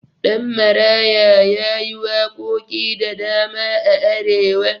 Ɗanmaraya ma yayi waƙoƙi da dama a arewa